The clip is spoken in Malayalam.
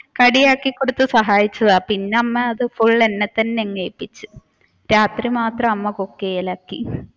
കടിയാക്കി കൊടുത്തു സഹായിച്ചതാ പിന്നെ അത് അമ്മ ഫുൾ എന്നെ തന്നെ അങ്ങേൽപിച്ചു. രാത്രി മാത്രം അമ്മ cook ചെയ്യൽ ആക്കി